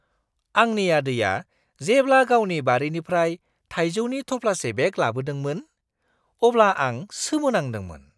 आंनि आदैआ जेब्ला गावनि बारिनिफ्राय थाइजौनि थफ्लासे बेग लाबोदोंमोन, अब्ला आं सोमोनांदोंमोन!